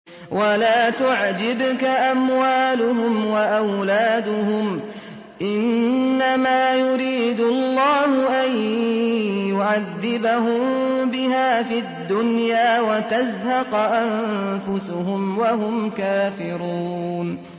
وَلَا تُعْجِبْكَ أَمْوَالُهُمْ وَأَوْلَادُهُمْ ۚ إِنَّمَا يُرِيدُ اللَّهُ أَن يُعَذِّبَهُم بِهَا فِي الدُّنْيَا وَتَزْهَقَ أَنفُسُهُمْ وَهُمْ كَافِرُونَ